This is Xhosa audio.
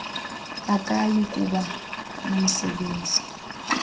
akayi kuba nomsebenzi